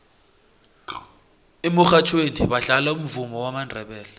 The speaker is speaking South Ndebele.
emurhatjhweni badlala umvumo wamandebele